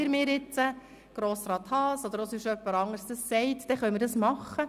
Wenn mir jetzt Grossrat Haas oder jemand anderes sagt, dass das geht, dann können wir das machen.